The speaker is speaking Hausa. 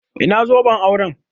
Ina zoben auren?